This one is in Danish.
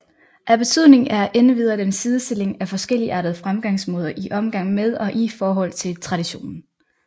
Af betydning er endvidere den sidestilling af forskelligartede fremgangsmåder i omgang med og i forhold til traditionen